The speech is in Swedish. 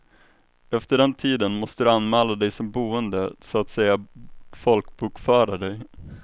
Efter den tiden måste du anmäla dig som boende, så att säga folkbokföra dig.